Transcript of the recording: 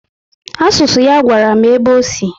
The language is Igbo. Asụsụ ya gwara m ebe ọ sị